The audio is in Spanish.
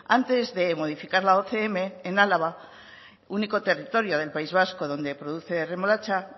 antes de modificar la ocm en álava único territorio del país vasco donde se produce remolacha